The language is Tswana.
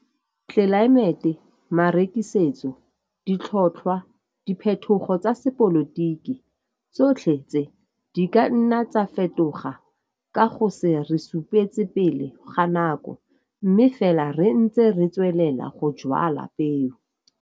TLELAEMETE, MAREKISETSO, DITLHOTLHWA, DIPHETHOGO TSA SEPOLOTIKI, TSOTLHE TSE DI KA NNA TSA FETOGA KA GO SE RE SUPETSE PELE GA NAKO. MME FELA RE NTSE RE TSWELELA GO JWALA PEO.